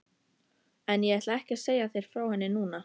En ég ætla ekki að segja þér frá henni núna.